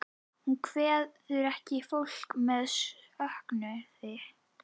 Hún kveður ekki fólkið með söknuði.